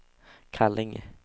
Kallinge